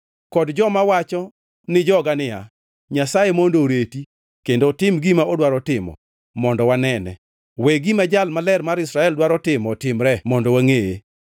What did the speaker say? kod joma wacho ni joga niya, “Nyasaye mondo oreti, kendo otim gima odwaro timo, mondo wanene. We gima Jal Maler mar Israel dwaro timo otimre mondo wangʼeye.”